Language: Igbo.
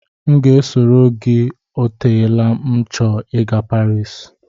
M ga-esoro gị o teela m na-achọ ị gaa Paris